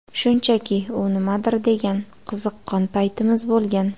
Shunchaki, u nimadir degan, qiziqqon paytimiz bo‘lgan.